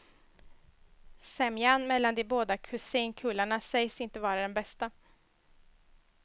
Sämjan mellan de båda kusinkullarna sägs inte vara den bästa.